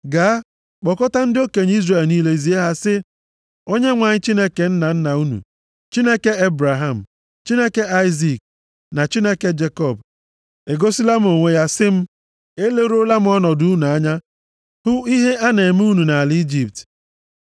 “Gaa, kpọkọta ndị okenye Izrel niile zie ha sị, ‘ Onyenwe anyị Chineke nna nna unu, Chineke Ebraham, Chineke Aịzik, na Chineke Jekọb, egosila m onwe ya, sị m, Eleruola m ọnọdụ unu anya hụ ihe a na-eme unu nʼala Ijipt.